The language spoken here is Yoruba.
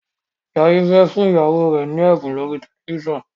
Jaiye fè fún ìyàwó rẹ ní ẹbun lórí tẹlifísàn.